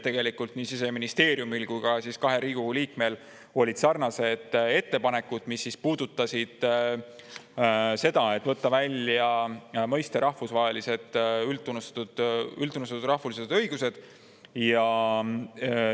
Tegelikult olid Siseministeeriumil ja kahel Riigikogu liikmel sarnased ettepanekud, mis puudutasid seda, et võtta välja mõiste "üldtunnustatud rahvusvahelised õigused".